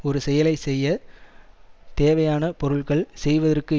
ஒரு செயலை செய்ய தேவையான பொருள்கள் செய்வதற்கு